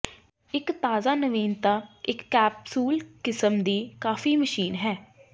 ਇੱਕ ਤਾਜ਼ਾ ਨਵੀਨਤਾ ਇੱਕ ਕੈਪਸੂਲ ਕਿਸਮ ਦੀ ਕਾਫੀ ਮਸ਼ੀਨ ਹੈ